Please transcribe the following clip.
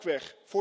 Ook weg.